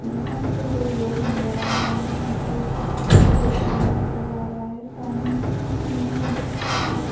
यहां पे दो लोग नजर आ रहे हैं जो नीचे पानी नजर आ रहा है पानी में--